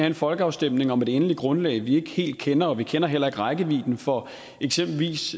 en folkeafstemning om et endeligt grundlag vi ikke helt kender og vi kender heller ikke rækkevidden for eksempelvis